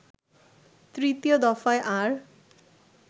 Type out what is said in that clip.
তৃতীয় দফায় আর